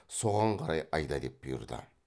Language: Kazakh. соған қарай айда деп бұйырды